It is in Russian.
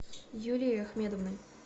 юлией ахмедовной